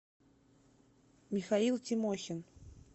михаил тимохин